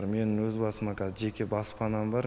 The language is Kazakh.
менің өз басыма кәз жеке баспанам бар